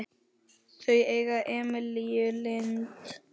Þau eiga Emilíu Lind.